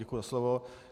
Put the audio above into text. Děkuji za slovo.